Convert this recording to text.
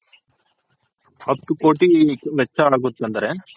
ಹತ್ತ್ ಕೋಟಿ ಆಗುತಂದ್ರೆ